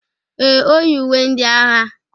Ee, o yi uwe ndị agha.